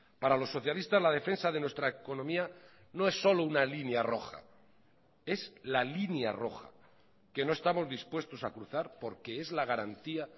para los socialistas la defensa de nuestra economía no es solo una línea roja es la línea roja que no estamos dispuestos a cruzar porque es la garantía